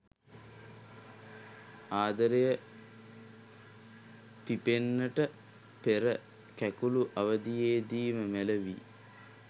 ආදරය පිපෙන්නට පෙර කැකූළු අවධියේදීම මැළවී